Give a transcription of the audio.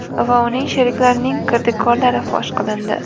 va uning sheriklarining kirdikorlari fosh qilindi.